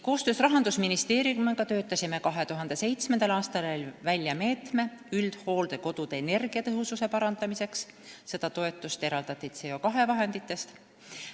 Koostöös Rahandusministeeriumiga töötasime 2007. aastal välja meetme üldhooldekodude energiatõhususe parandamiseks, toetust eraldati CO2 vahenditest.